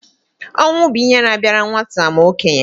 Ọnwụ bụ ihe na-abịara nwata ma okenye